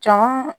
Can